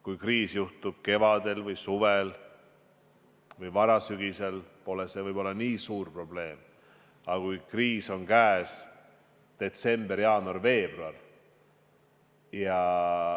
Kui kriis tekib kevadel või suvel või varasügisel, pole see nii suur probleem, aga mis siis, kui käes on detsember, jaanuar, veebruar?